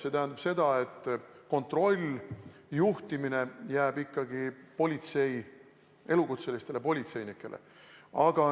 See tähendab seda, et kontroll, juhtimine jääb ikkagi elukutselistele politseinikele.